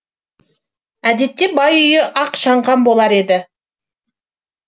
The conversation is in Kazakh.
әдетте бай үйі ақ шаңқан болар еді